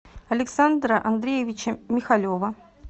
александра андреевича михалева